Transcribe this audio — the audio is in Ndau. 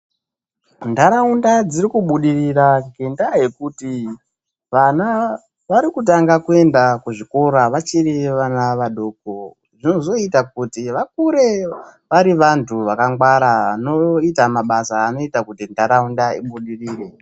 Ntaraunda dziri kubudirira ngendaa yekuti vana vari kutanga kuenda kuzvikora vachiri vana vadoko, zvozoita kuti vakure vari vantu vakangwara vanoita mabasa anoita kuti ntaraunda ibudirire.